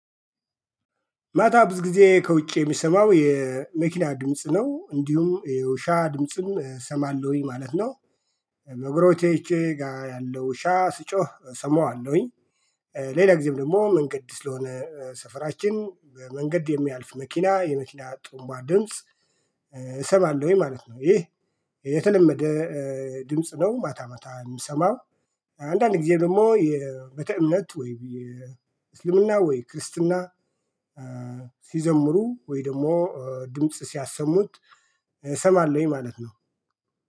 ማታ ብዙ ጊዜ ከውጭ የሚሰማው የመኪና ድምጽ ነው እንዲሁም የውሻ ድምጽም እሰማለሁኝ ማለት ነው። በጎረቤቶቼ ጋር ያለው ውሻ ሲጮህ እሰማዋለሁኝ። ሌላ ጊዜም ደግሞ መንገድ ስለሆነ ሰፈራችን መንገድ የሚያልፍ መኪና የመኪና ጡሩንባ ድምጽ እሰማለሁኝ ማለት ነው። ይህ የተለመደ ድምጽ ነው። ማታ ማታ የምሰማው አንዳንድ ጊዜ ደግሞ የቤተእምነት ወይ የእስልምና ወይ ክርስትና ሲዘምሩ ወይ ደግሞ ድምጽ ሲያሰሙት እሰማለሁኝ ማለት ነው።